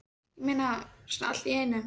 Ég meina, svona allt í einu?